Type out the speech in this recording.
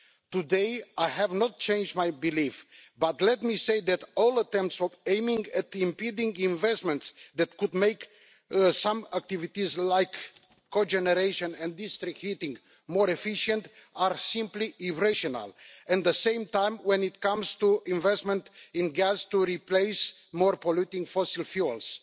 Today, I have not changed my belief, and let me say that all attempts aimed at impeding investments that could make some activities like co generation and district heating more efficient are simply irrational. At the same time, when it comes to investment in gas to replace more-polluting fossil fuels,